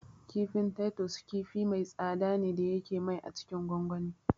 Kifin Titus kifi mai tsada ce da yake mai a cikin gongoni